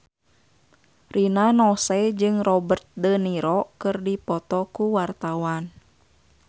Rina Nose jeung Robert de Niro keur dipoto ku wartawan